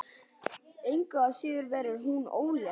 Engu að síður verður hún ólétt.